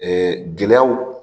gɛlɛyaw,